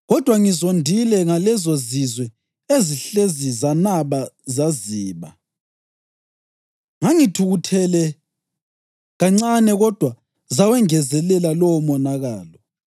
kodwa ngizondile ngalezozizwe ezihlezi zanaba zaziba. Ngangithukuthele kancane kodwa zawengezelela lowo monakalo.’